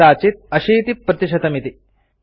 यथा कदाचित ८० प्रतिशतमिति